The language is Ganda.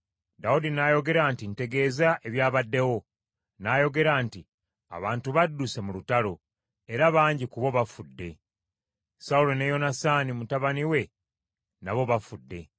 Dawudi n’ayogera nti, “Ntegeeza ebyabaddewo.” N’ayogera nti, “Abantu badduse mu lutalo, era bangi ku bo bafudde. Sawulo ne Yonasaani mutabani we nabo bafudde.”